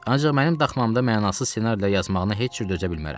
Ancaq mənim daxmamda mənasız ssenarilər yazmağına heç cür dözə bilmərəm.